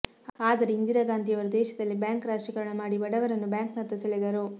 ಆದರೆ ಇಂದಿರಾ ಗಾಂಧಿಯವರು ದೇಶದಲ್ಲಿ ಬ್ಯಾಂಕ್ ರಾಷ್ಟ್ರೀಕರಣ ಮಾಡಿ ಬಡವರನ್ನು ಬ್ಯಾಂಕ್ನತ್ತ ಸಳೆದರು